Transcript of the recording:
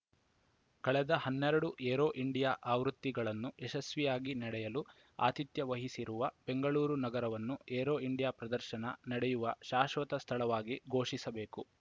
ಕಳೆದ ಹನ್ನೆರಡು Aero India ಆವೃತ್ತಿಗಳನ್ನು ಯಶಸ್ವಿಯಾಗಿ ನಡೆಯಲು ಆತಿಥ್ಯ ವಹಿಸಿರುವ ಬೆಂಗಳೂರು ನಗರವನ್ನು ಏರೋ ಇಂಡಿಯಾ ಪ್ರದರ್ಶನ ನಡೆಯುವ ಶಾಶ್ವತ ಸ್ಥಳವಾಗಿ ಘೋಷಿಸಬೇಕು